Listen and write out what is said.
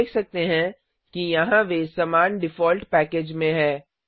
हम देख सकते हैं कि यहाँ वे समान डिफोल्ट पैकेज में है